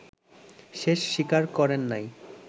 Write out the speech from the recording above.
শেষ স্বীকার করেন নাই